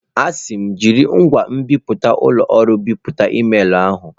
A sị m, jiri ngwa nbipute ụlọ ọrụ bipụta emailụ ahụ!